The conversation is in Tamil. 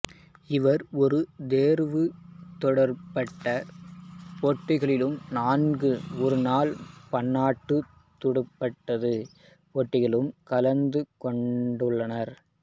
இவர் ஒரு தேர்வுத் துடுப்பாட்டப் போட்டிகளிலும் நான்கு ஒருநாள் பன்னாட்டுத் துடுப்பாட்டப் போட்டிகளிலும் கலந்து கொண்டுள்ளார்